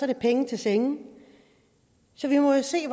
det penge til senge så vi må jo se